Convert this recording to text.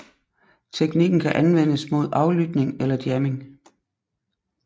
Teknikken kan anvendes mod aflytning eller jamming